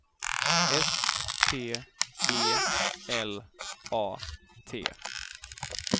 S P E L A T